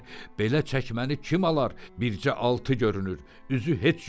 Belə çəkməni kim alar, bircə altı görünür, üzü heç yoxdur.